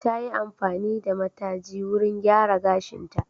Ta yi amfani da mataji wurin gyara gashinta.